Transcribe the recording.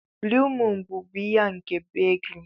Blue Moon bụ biya nke Belgium.